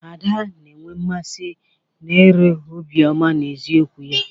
Ada na-enwe mmasị na er obiọma na eziokwu ya.